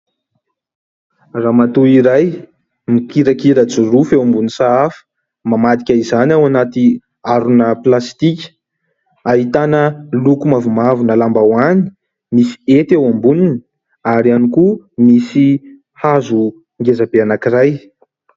Ramatoa iray mikirakira jorofo eo ambonin'ny sahafa, mamadika izany ao anaty harona plastika. Ahitana loko mavomavona lambahoany, misy hety eo amboniny ary ihany koa misy hazo ngezabe anankiray.